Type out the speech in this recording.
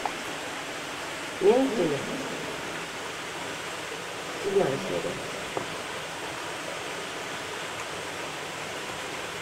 менты седьмая серия